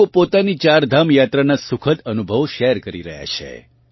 લોકો પોતાની ચારધામ યાત્રાના સુખદ અનુભવો શેઅર કરી રહ્યા છે